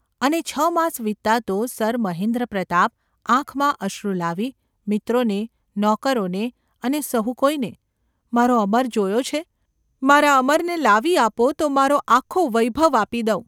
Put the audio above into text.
અને છ માસ વીતતાં તો સર મહેન્દ્રપ્રતાપ આંખમાં અશ્રુ લાવી મિત્રોને, નોકરોને અને સહુ કોઈને ‘મારો અમર જોયો છે ? મારા અમરને લાવી આપો તો મારો આખો વૈભવ આપી દઉં.